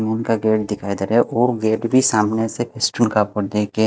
उनका गेट दिखाया दे रहा है वो गेट भी सामने देख के--